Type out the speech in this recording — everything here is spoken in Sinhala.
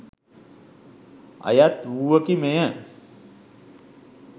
අයත් වූවකි මෙය